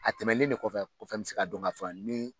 A tɛmɛnen de kɔfɛ o kɔfɛ n bi se ka don ka fɔ ni